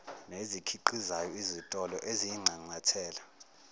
nezikhiqizayo izitolo eziyinxanxathela